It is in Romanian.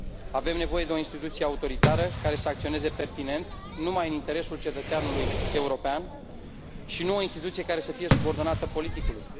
Avem nevoie de o instituție autoritară, care să acționeze pertinent, numai în interesul cetățeanului european și nu de o instituție care să fie subordonată politicului.